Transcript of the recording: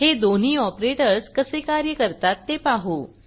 हे दोन्ही ऑपरेटर्स कसे कार्य करतात ते पाहू